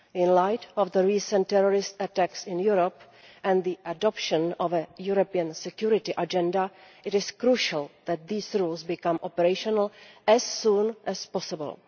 In light of the recent terrorist attacks in Europe and the adoption of a European security agenda, it is crucial that these rules become operational as soon as possible.